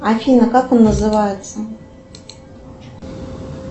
афина как он называется